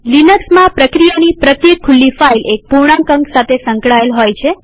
લિનક્સમાંપ્રક્રિયાની પ્રત્યેક ખુલ્લી ફાઈલ એક પૂર્ણાંક અંક સાથે સંકળાયેલ હોય છે